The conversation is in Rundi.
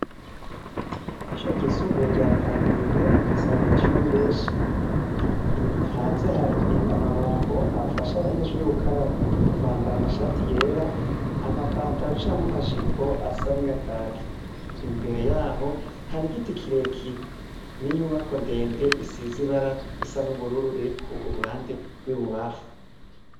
Ishure ryisumbuye rya Kamenge rifise abanyeshure benshi, hanze hari amabombo afasha abanyeshure gukaraba, bambara amashati yera amapataro canke amajipo asa na kaki, imbere yaho hari igiti kirekire n'inyubako ndende isize ibara risa n'ubururu riri ku ruhande rw'ibubamfu.